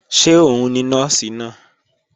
Ṣé òun ni Nọ́ọ̀sì náà?